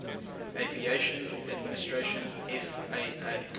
aviation administration faa